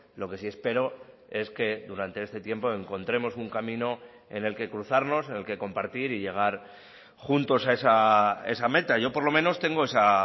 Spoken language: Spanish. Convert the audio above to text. lo que sí espero es que durante este tiempo encontremos un camino en el que cruzarnos en el que compartir y llegar juntos a esa meta yo por lo menos tengo esa